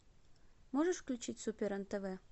можешь включить супер нтв